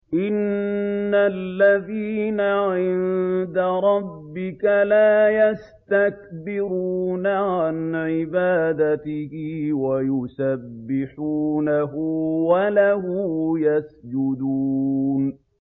إِنَّ الَّذِينَ عِندَ رَبِّكَ لَا يَسْتَكْبِرُونَ عَنْ عِبَادَتِهِ وَيُسَبِّحُونَهُ وَلَهُ يَسْجُدُونَ ۩